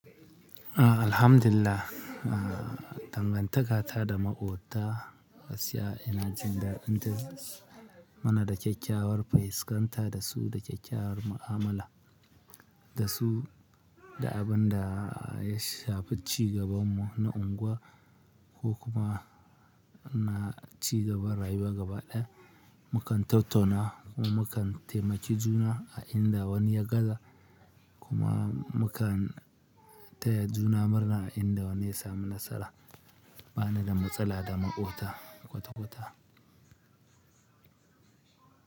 Alhamdillah, ah dangantaka ta da maƙota gaskiya ina jin dadi dazsu muna da kyakyawar fuskanta da su, da kyakyawar mu'amala da su, da abun da ya shafi cigaban mu na unguwa ko kuma na cigaban rayuwa gaba ɗaya. Mukan tattauna kuma mu kan taimaki juna a inda wani ya gaza kuma mu kan taya juna murna a inda wani ya sami nasara. Ba ni da matsala da maƙota kwata-kwata.